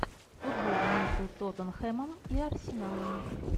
футбол между тоттенхэмом и арсеналом